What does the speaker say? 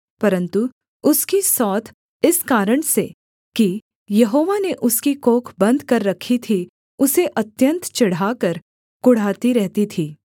परन्तु उसकी सौत इस कारण से कि यहोवा ने उसकी कोख बन्द कर रखी थी उसे अत्यन्त चिढ़ाकर कुढ़ाती रहती थी